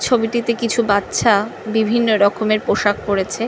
ছবিটিতে কিছু বাচ্ছা বিভিন্ন রকমের পোশাক পরেছে।